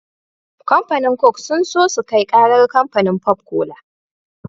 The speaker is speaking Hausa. Kamfanin coke sun so sukai karar kamfanin pop cola